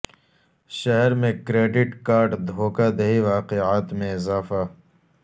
شہر میں credit card دھوکہ دہی واقعات میں اضافہ